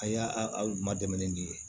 A y'a aw ma dɛmɛni de ye